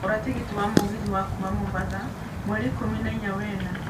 gũra tigiti wa mũgithi wa kuuma mombatha mweri ikũmi na inya wa ĩna